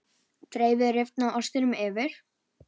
Dreifið rifna ostinum yfir.